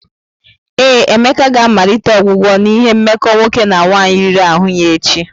Ee, Emeka ga-amalite ọgwụgwọ n'ihi mmekọ nwoke na nwaanyị riri ahụ ya echi.